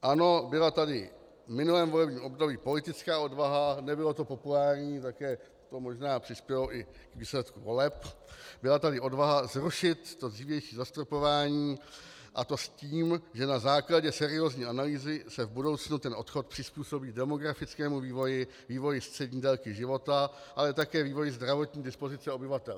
Ano, byla tady v minulém volebním období politická odvaha, nebylo to populární, také to možná přispělo i k výsledku voleb, byla tady odvaha zrušit to dřívější zastropování, a to s tím, že na základě seriózní analýzy se v budoucnu ten odchod přizpůsobí demografickému vývoji, vývoji střední délky života, ale také vývoji zdravotní dispozice obyvatel.